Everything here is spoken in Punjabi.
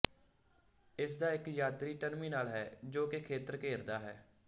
ਇਸਦਾ ਇੱਕ ਯਾਤਰੀ ਟਰਮੀਨਲ ਹੈ ਜੋ ਕਿ ਖੇਤਰ ਘੇਰਦਾ ਹੈ